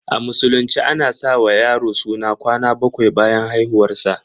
A musulunce a na sa wa yaro suna kwana baƙwai bayan haihuwar sa